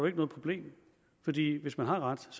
noget problem fordi hvis man har ret